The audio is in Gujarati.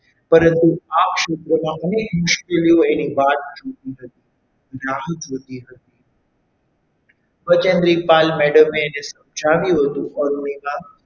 પરંતુ આ ક્ષેત્રમાં અનેક મુશ્કેલીઓ એની વાટ જોતી હતી રાહ જોતી હતી બજેન્દ્રી પાલ madam એ સમજાવ્યું હતું અરુણિમા,